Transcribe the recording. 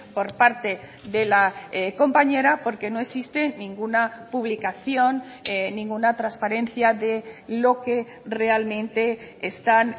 por parte de la compañera porque no existe ninguna publicación ninguna transparencia de lo que realmente están